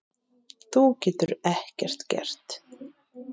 Þú getur ekkert gert.